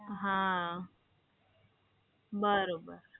હા, બરોબર.